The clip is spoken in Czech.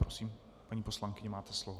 Prosím, paní poslankyně, máte slovo.